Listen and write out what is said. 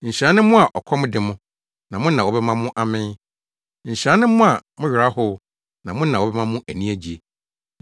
Nhyira ne mo a ɔkɔm de mo, na mo na wɔbɛma mo amee. Nhyira ne mo a mo werɛ ahow, na mo na wɔbɛma mo ani agye.